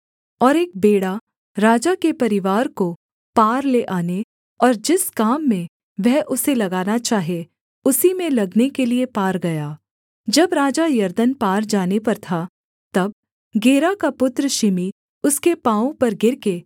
और एक बेड़ा राजा के परिवार को पार ले आने और जिस काम में वह उसे लगाना चाहे उसी में लगने के लिये पार गया जब राजा यरदन पार जाने पर था तब गेरा का पुत्र शिमी उसके पाँवों पर गिरकर